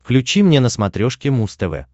включи мне на смотрешке муз тв